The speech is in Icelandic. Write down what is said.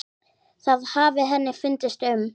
Það hafi henni fundist um